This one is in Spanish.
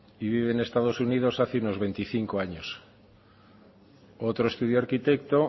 y viven en estados unidos hace unos veinticinco años otro estudió arquitecto